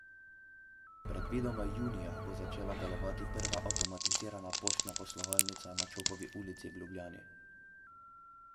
Predvidoma junija bo začela delovati prva avtomatizirana poštna poslovalnica na Čopovi ulici v Ljubljani.